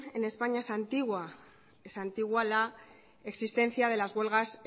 en españa es antigua es antigua la existencia de las huelgas